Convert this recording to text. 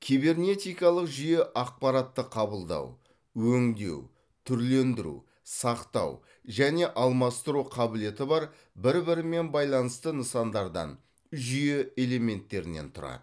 кибернетикалық жүйе ақпаратты қабылдау өңдеу түрлендіру сақтау және алмастыру қабілеті бар бір бірімен байланысты нысандардан жүйе элементтерінен тұрады